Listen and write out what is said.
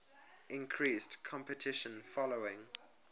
increased competition following